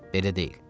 Belə deyil.